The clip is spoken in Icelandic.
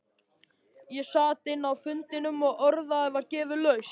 Ég sat inni á fundinum og orðið var gefið laust.